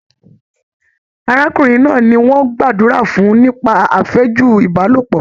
Arákùnrin náà ní wọn gbàdúrà fún nípa afẹju Ibalopọ.